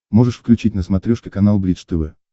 можешь включить на смотрешке канал бридж тв